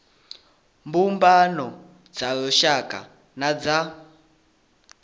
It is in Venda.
mbumbano dza lushaka na dza